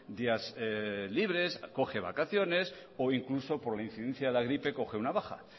días libres coge vacaciones o incluso por incidencia de la gripe coge una baja